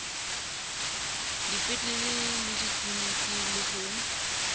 dipetlele le ditliliniki le ho